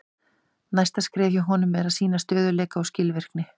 Næsta skrefið hjá honum er að sýna stöðugleika og skilvirkni.